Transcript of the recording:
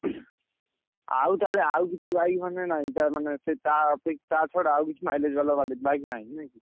ଆଉ ତାହେଲେ ଆଉ କିଛି bike ମାନେ ନାହିଁ ତା ମାନେ ସେଇ ତା ଅପେ ତା ଛଡା ଆଉ କିଛି mileage ବାଲା ଗାଡି bike ନାହିଁ ନୁହେଁ କି?